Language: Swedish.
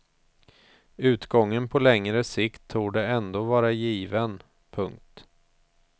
Utgången på längre sikt torde ändå vara given. punkt